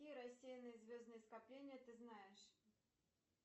какие рассеянные звездные скопления ты знаешь